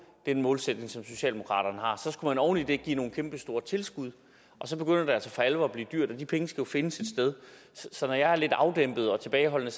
den målsætning som socialdemokraterne har så skulle man oven i det give nogle kæmpestore tilskud og så begynder det altså for alvor at blive dyrt og de penge skal jo findes et sted så når jeg er lidt afdæmpet og tilbageholdende